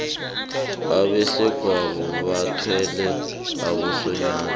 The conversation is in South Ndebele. abesegwabo bathwele abosonyana